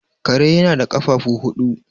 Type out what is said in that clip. kare yana da kafafu huudu